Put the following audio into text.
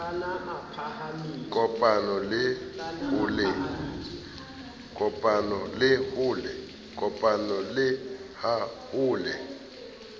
kopano le ha ho le